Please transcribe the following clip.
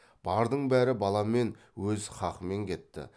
бардың бәрі баламен өз қақымен кетті